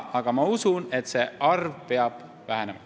Aga ma usun, et see arv peab vähenema.